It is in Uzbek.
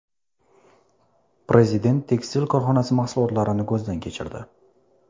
Prezident tekstil korxonasi mahsulotlarini ko‘zdan kechirdi.